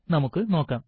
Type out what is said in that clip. നമുക്ക് നോക്കാം